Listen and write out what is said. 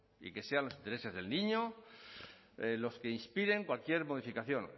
y que sean los intereses del niño los que inspiren cualquier modificación